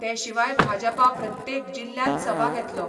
ते शिवाय भाजपा प्रत्येक जिल्ल्यात सभा घेतलो.